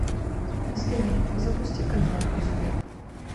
сбер запусти канал успех